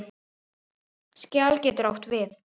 Skjal getur átt við